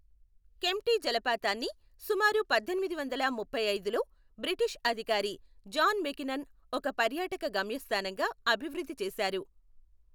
కెంప్టీ జలపాతాన్ని సుమారు పద్దెనిమిది వందల ముప్పైఐదులో బ్రిటిష్ అధికారి జాన్ మెకినన్ ఒక పర్యాటక గమ్యస్థానంగా అభివృద్ధి చేశారు.